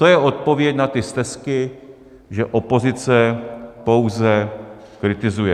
To je odpověď na ty stesky, že opozice pouze kritizuje.